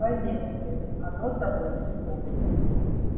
поверь сын оно того не стоит